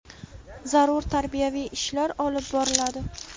zarur tarbiyaviy ishlar olib boriladi.